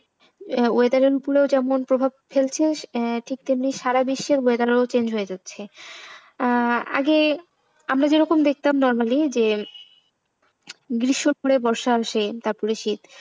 আহ weather এর ওপরে যেমন প্রভাব আহ ফেলছে ঠিক তেমনি সারা বিশ্বের weather ও change হয়ে যাচ্ছে আহ আগে আমরা যেরকম দেখতাম normally যে গ্রীষ্মের পরে বর্ষা আসে তারপরে শীত।